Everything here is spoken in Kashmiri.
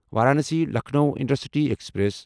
Varanasi Lucknow intercity express